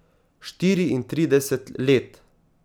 Štiriintrideset let.